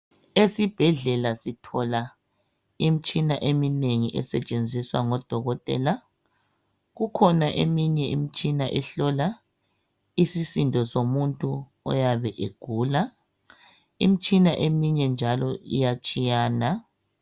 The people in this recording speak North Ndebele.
Esibhedlela sithola imitshina eminengi esetshenziswa ngodokotela kukhona eminye imitshina ehlola isisindo somuntu oyabe egula imitshina eminye njalo iyatshiyana